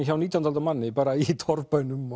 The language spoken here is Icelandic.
hjá nítjándu aldar manni bara í torfbænum